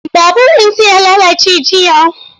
Babur ɗinsa ya lalace jiya.